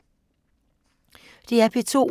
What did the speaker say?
DR P2